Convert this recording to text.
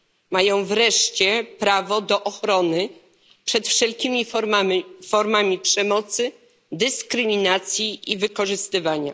Mają, wreszcie, prawo do ochrony przed wszelkimi formami przemocy, dyskryminacji i wykorzystywania.